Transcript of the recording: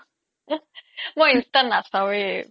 মই ইনষ্টা নাচাও য়ে